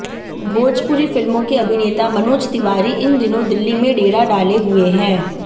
भोजपुरी फिल्मों के अभिनेता मनोज तिवारी इन दिनों दिल्ली में डेरा डाले हुए हैं